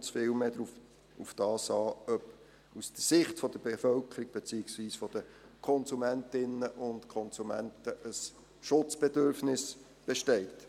Es kommt vielmehr darauf an, ob aus Sicht der Bevölkerung beziehungsweise der Konsumentinnen und Konsumenten ein Schutzbedürfnis besteht.